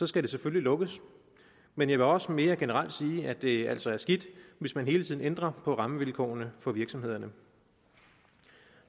skal det selvfølgelig lukkes men jeg vil også mere generelt sige at det altså er skidt hvis man hele tiden ændrer på rammevilkårene for virksomhederne